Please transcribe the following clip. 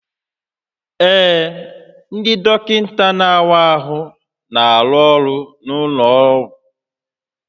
Ee, ndị dọkịta na-awa ahụ na-arụ ọrụ n'ụlọ ọgwụ